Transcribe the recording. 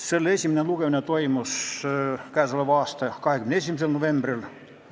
Selle esimene lugemine toimus 21. novembril.